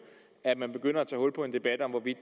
at man begynder at tage hul på en debat om hvorvidt